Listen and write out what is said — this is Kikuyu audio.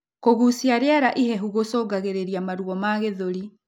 Kugucia rĩera ihehu gucungagirirĩa maruo ma gĩthũri